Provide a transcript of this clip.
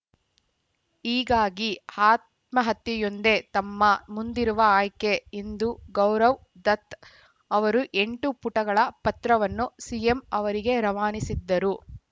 ಹೀಗಾಗಿ ಆತ್ಮಹತ್ಯೆಯೊಂದೇ ತಮ್ಮ ಮುಂದಿರುವ ಆಯ್ಕೆ ಎಂದು ಗೌರವ್‌ ದತ್‌ ಅವರು ಎಂಟು ಪುಟಗಳ ಪತ್ರವನ್ನು ಸಿಎಂ ಅವರಿಗೆ ರವಾನಿಸಿದ್ದರು